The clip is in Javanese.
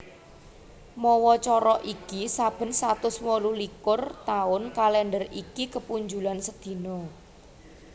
Mawa cara iki saben satus wolu likur taun kalèndher iki kepunjulan sedina